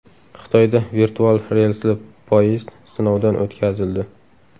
Xitoyda virtual relsli poyezd sinovdan o‘tkazildi .